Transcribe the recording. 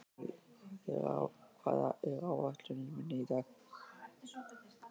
Árný, hvað er á áætluninni minni í dag?